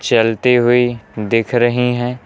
चलती हुई दिख रही हैं।